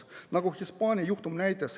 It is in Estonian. Nagu Hispaania juhtum näitas ...